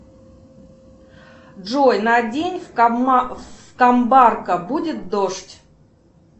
джой на день в камбарка будет дождь